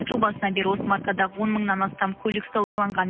жыл басынан бері осы маркадағы он мыңнан астам көлік саудаланған